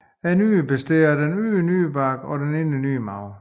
Nyrerne består af en ydre nyrebark og en indre nyremarv